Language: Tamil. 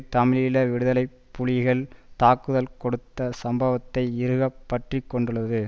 தமிழீழ விடுதலை புலிகள் தாக்குதல் தொடுத்த சம்பவத்தை இறுகப் பற்றி கொண்டுள்ளது